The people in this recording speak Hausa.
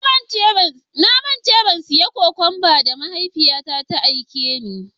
Na manta in siya cokumba da mahaifiya na ta aike ni.